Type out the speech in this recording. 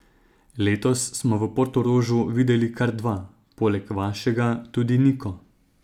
Letos smo v Portorožu videli kar dva, poleg vašega tudi Niko.